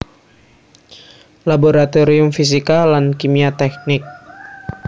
Laboratorium Fisika lan Kimia Teknik